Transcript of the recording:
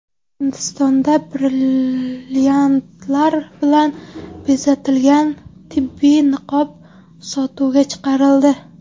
Hindistonda brilliantlar bilan bezatilgan tibbiy niqob sotuvga chiqarildi.